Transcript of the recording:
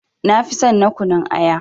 Nafi son na kunun aya.